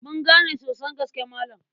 Mun gane sosan gaske Malam.